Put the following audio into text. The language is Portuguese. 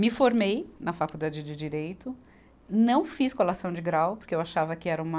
Me formei na Faculdade de Direito, não fiz colação de grau porque eu achava que era uma